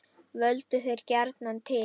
Völdu þeir gjarnan til